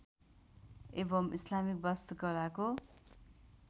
एवम् इस्लामिक वास्तुकलाको